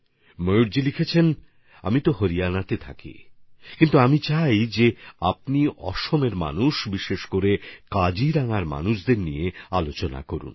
ময়ূরজি লিখেছেন আমি তো হরিয়ানায় থাকি কিন্তু আমি চাই আপনি আসামের মানুষদের নিয়ে বিশেষ করে কাজিরাঙ্গার মানুষদের নিয়ে কথা বলুন